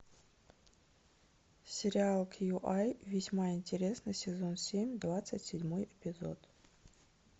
сериал кью ай весьма интересно сезон семь двадцать седьмой эпизод